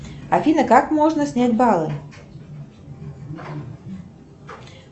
афина как можно снять баллы